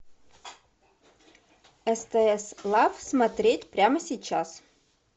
стс лав смотреть прямо сейчас